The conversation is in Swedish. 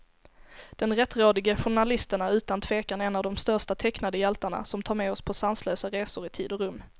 Den rättrådige journalisten är utan tvekan en av de största tecknade hjältarna, som tar med oss på sanslösa resor i tid och rum.